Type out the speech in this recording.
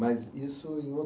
Mas isso em